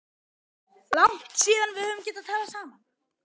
Langt síðan við höfum getað talað saman.